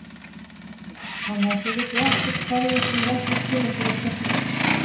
Erla: Þannig að þið vitið ekkert hverjir sem eru ekki að skila sér á kjörstað?